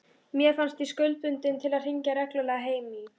Mér fannst ég skuldbundin til að hringja reglulega heim í